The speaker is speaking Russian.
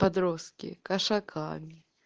подростки кошаками